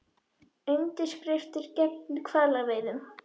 Undirskriftir gegn hvalveiðum